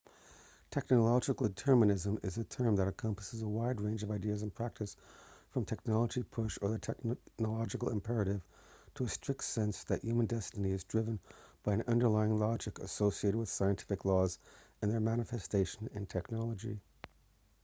technological determinism is a term that encompasses a wide range of ideas in practice from technology-push or the technological imperative to a strict sense that human destiny is driven by an underlying logic associated with scientific laws and their manifestation in technology